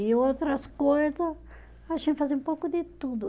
E outras coisa, a gente fazia um pouco de tudo.